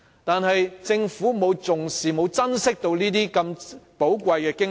但是，政府卻沒有重視和珍惜這些如此寶貴的經驗。